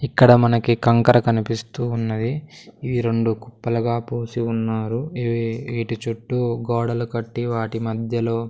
ఇక్కడ మనకి కంకర కనిపిస్తూ ఉన్నది ఈ రెండు కుప్పలుగా పోసి ఉన్నారు ఇవి వీటి చుట్టూ గోడలు కట్టి వాటి మధ్యలో--